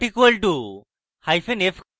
!= not equal tof hyphen f